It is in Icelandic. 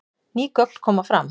Ný gögn koma fram